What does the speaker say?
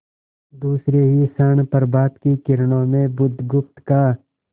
दूसरे ही क्षण प्रभात की किरणों में बुधगुप्त का